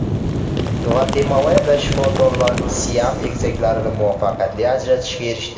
Gvatemalada shifokorlar Siam egizaklarini muvaffaqiyatli ajratishga erishdi.